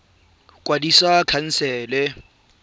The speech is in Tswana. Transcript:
tsa ditiro go kwadisa khansele